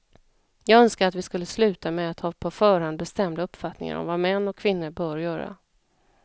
Jag önskar att vi skulle sluta med att ha på förhand bestämda uppfattningar om vad män och kvinnor bör göra.